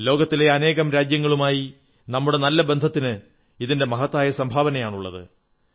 ലോകത്തിലെ അനേകം രാജ്യങ്ങളുമായി നമ്മുടെ നല്ല ബന്ധത്തിന് ഇതിന്റെ മഹത്തായ സംഭാവനയാണുള്ളത്